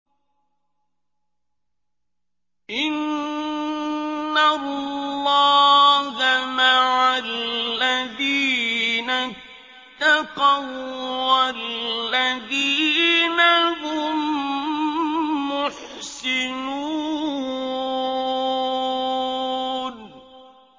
إِنَّ اللَّهَ مَعَ الَّذِينَ اتَّقَوا وَّالَّذِينَ هُم مُّحْسِنُونَ